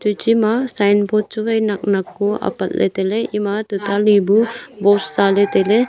teche ma sign board chu wai nak nak ko apatley tailey ema tatali bu post zaley tailey..